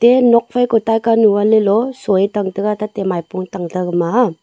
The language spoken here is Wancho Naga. ye nokphai ko taika nu a leloh soi tang tega tate maipung tangta gama a.